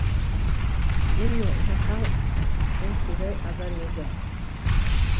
міне жақаң осындай адам еді